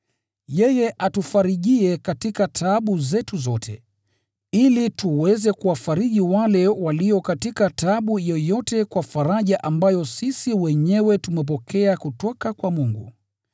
Yeye hutufariji katika taabu zetu, ili tuweze kuwafariji walio katika taabu yoyote kwa faraja ambayo sisi wenyewe tumepokea kutoka kwa Mungu.